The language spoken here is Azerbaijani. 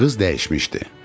Qız dəyişmişdi.